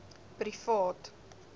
privaat